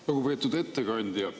Lugupeetud ettekandja!